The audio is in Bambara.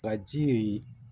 Baji